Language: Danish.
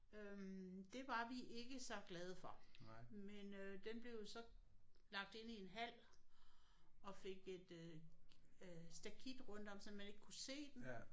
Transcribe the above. Øh det var vi ikke så glade for men øh den blev jo så lagt ind i en hal og fik et øh øh stakit rundt om sådan at man ikke kunne se den